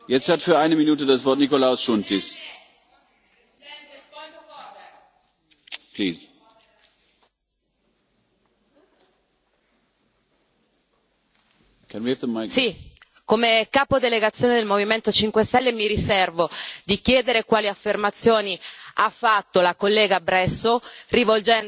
Signor Presidente, come capo delegazione del Movimento 5 Stelle, mi riservo di chiedere quali affermazioni ha fatto la collega Bresso, rivolgendosi alla mia delegazione,